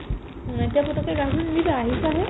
এনেকে পতককে গা ধুই নিদিবা আহিছাহে